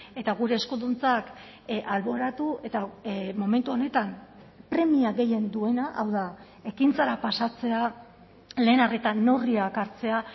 eta gure eskuduntzak alboratu eta momentu honetan premia gehien duena hau da ekintzara pasatzea lehen arretan neurriak hartzea